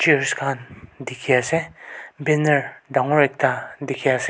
chairs khan dikhi ase banner dangor ekta dikhi ase.